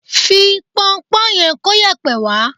Fi pọnpọ́ yẹn kóyẹ̀pẹ̀ wá